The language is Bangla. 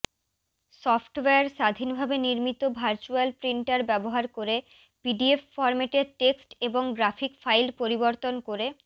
সফ্টওয়্যার স্বাধীনভাবে নির্মিত ভার্চুয়াল প্রিন্টার ব্যবহার করে পিডিএফ ফরম্যাটে টেক্সট এবং গ্রাফিক ফাইল পরিবর্তন করে